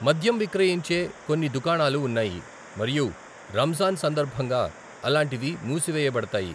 మద్యం విక్రయించే కొన్ని దుకాణాలు ఉన్నాయి మరియు రంజాన్ సందర్భంగా అలాంటివి మూసివేయబడతాయి.